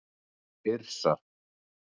Yrsa